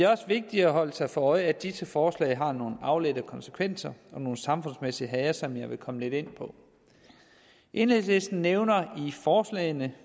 også vigtigt at holde sig for øje at disse forslag har nogle afledte konsekvenser og samfundsmæssigt hager som jeg vil komme lidt ind på enhedslisten nævner i forslagene